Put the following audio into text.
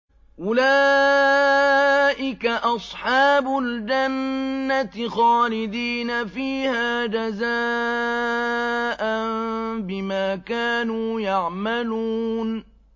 أُولَٰئِكَ أَصْحَابُ الْجَنَّةِ خَالِدِينَ فِيهَا جَزَاءً بِمَا كَانُوا يَعْمَلُونَ